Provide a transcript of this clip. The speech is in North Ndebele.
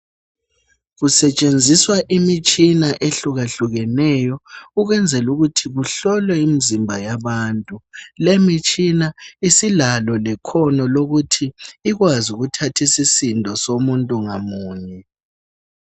Kutshenziswa imitshina ehlukahlukeneyo ukwenzela ukuthi kuhlolwe imizimba yabantu. Lemitshina isilalo lekhono lokuthi ikwazi ukuthatha isisindo somuntu ngamunye.